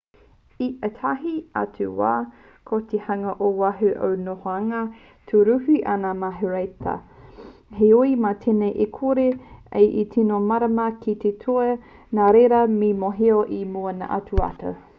i ētahi atu wā ko te hunga ō waho i ngā nohoanga tūruhi anake me rēhita heoi mā tēnei e kore ai e tīno mārama ki te ture nā reira me mōhio i mua noa atu